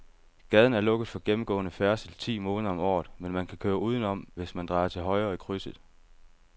Gaden er lukket for gennemgående færdsel ti måneder om året, men man kan køre udenom, hvis man drejer til højre i krydset.